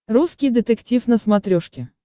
русский детектив на смотрешке